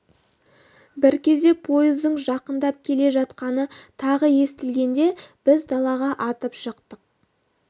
бір кезде пойыздың жақындап келе жатқаны тағы естілгенде біз далаға атып шықтық